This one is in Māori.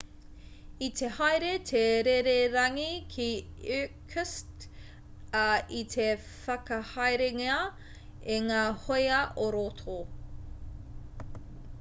i te haere te rererangi ki irkutsk ā i te whakahaerengia e ngā hōia ō-roto